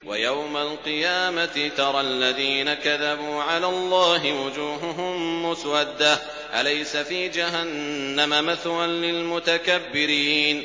وَيَوْمَ الْقِيَامَةِ تَرَى الَّذِينَ كَذَبُوا عَلَى اللَّهِ وُجُوهُهُم مُّسْوَدَّةٌ ۚ أَلَيْسَ فِي جَهَنَّمَ مَثْوًى لِّلْمُتَكَبِّرِينَ